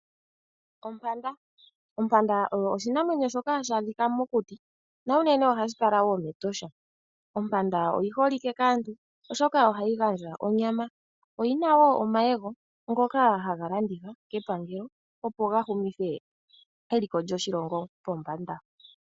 Ompanda oyo oshinamwenyo shoka hashi adhika mokuti, na unene ohashi kala mEtosha. Ompanda oyi holike kaantu oshoka ohayi gandja onyama. Oyina woo omayego ngoka haga landithwa kepangalo opo gamuhumithe eliko lyoshilongo pombanda.